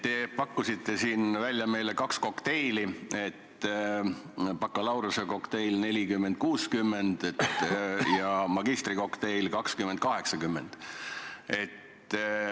Te pakkusite siin meile välja kaks kokteili, bakalaureusekokteili 40 : 60 ja magistrikokteili 20 : 80.